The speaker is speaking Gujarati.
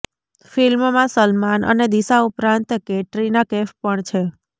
ફિલ્મમાં સલમાન અને દિશા ઉપરાંત કેટરીના કૈફ પણ છે